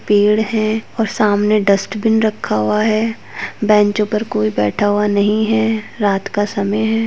पेड़ है और सामने डस्टबिन रक्खा हुआ है बेंचों पर कोई बैठा हुआ नही है रात का समय है।